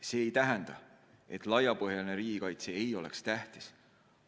See ei tähenda, et laiapõhjaline riigikaitse ei ole tähtis.